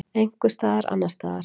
Einhvers staðar annars staðar.